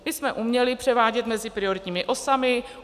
Ty jsme uměli převádět mezi prioritními osami.